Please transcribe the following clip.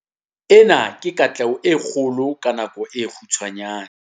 Ena ke katleho e kgolo ka nako e kgutshwane.